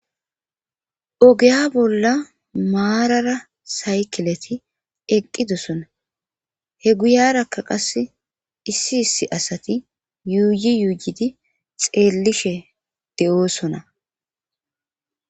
ogeya bolla maarara saykileti eqqidosona he guyarakka qase issi issi asati yuuyi yuuyidi xeellishe de7oosona